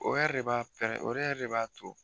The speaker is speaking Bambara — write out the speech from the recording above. O yɛrɛ de b'a pɛrɛ, o yɛrɛ de b'a to